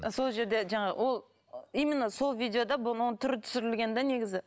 сол жерде жаңағы ол именно сол видеода бұның оның түрі түсірілген де негізі